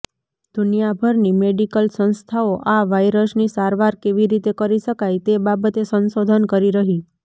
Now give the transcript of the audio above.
દુનિયાભરની medical સંસ્થાઓ આ વાઈરસની સારવાર કેવી રીતે કરી શકાય તે બાબતે સંશોધન કરી રહી